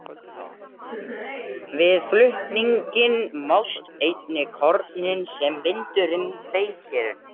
Við flutninginn mást einnig kornin sem vindurinn feykir.